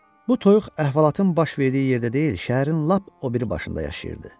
Bu toyuq əhvalatın baş verdiyi yerdə deyil, şəhərin lap o biri başında yaşayırdı.